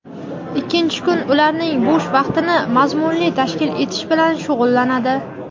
ikkinchi kun ularning bo‘sh vaqtini mazmunli tashkil etish bilan shug‘ullanadi.